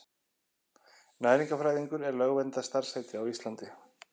Næringarfræðingur er lögverndað starfsheiti á Íslandi.